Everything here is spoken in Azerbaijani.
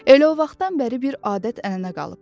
Elə o vaxtdan bəri bir adət-ənənə qalıb.